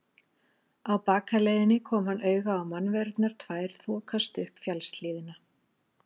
Á bakaleiðinni kom hann auga á mannverurnar tvær þokast upp fjallshlíðina.